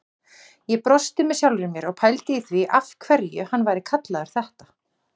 Ég brosti með sjálfri mér og pældi í því af hverju hann væri kallaður þetta.